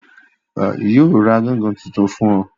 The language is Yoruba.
Yóò ra gángan tuntun fún ọ